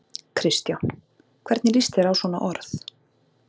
Kristján: Hvernig lýst þér á svona orð?